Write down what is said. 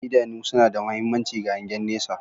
Idanu suna da mahimmanci ga hangen nesa